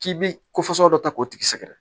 K'i bi ko fasugu dɔ ta k'o tigi sɛgɛrɛ